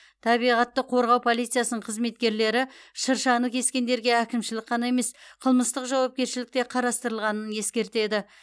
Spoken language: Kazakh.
табиғатты қорғау полициясының қызметкерлері шыршаны кескендерге әкімшілік қана емес қылмыстық жауапкершілік те қарастырылғанын ескертеді